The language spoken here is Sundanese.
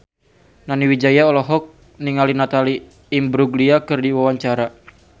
Nani Wijaya olohok ningali Natalie Imbruglia keur diwawancara